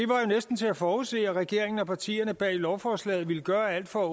næsten til at forudse at regeringen og partierne bag lovforslaget ville gøre alt for at